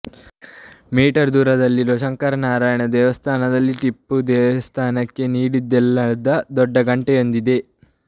me ದೂರದಲ್ಲಿರೋ ಶಂಕರನಾರಾಯಣ ದೇವಸ್ಥಾನದಲ್ಲಿ ಟಿಪ್ಪು ದೇವಸ್ಥಾನಕ್ಕೆ ನೀಡಿದ್ದೆನ್ನಲ್ಲಾದ ದೊಡ್ಡ ಘಂಟೆಯೊಂದಿದೆ